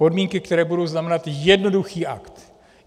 Podmínky, které budou znamenat jednoduchý akt.